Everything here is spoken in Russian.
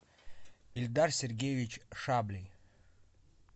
эльдар сергеевич шаблий